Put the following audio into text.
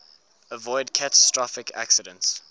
avoid catastrophic accidents